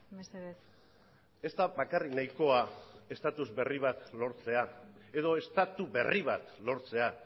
mesedez ez da bakarrik nahikoa estatus berri bat lortzea edo estatu berri bat lortzea